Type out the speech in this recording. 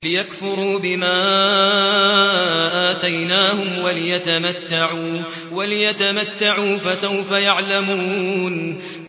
لِيَكْفُرُوا بِمَا آتَيْنَاهُمْ وَلِيَتَمَتَّعُوا ۖ فَسَوْفَ يَعْلَمُونَ